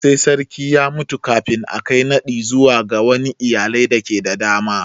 Sai sarki ya mutu kafin a Kai naɗi zuwa wani iyalai dake da dama.